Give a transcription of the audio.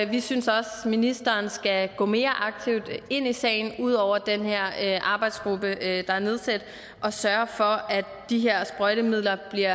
vi synes også at ministeren skal gå mere aktivt ind i sagen ud over den her arbejdsgruppe der er nedsat og sørge for at de her sprøjtemidler bliver